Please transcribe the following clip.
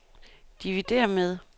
dividér med